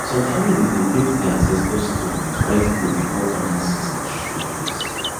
some families dey paint di ancestor stone with white clay before farming season show face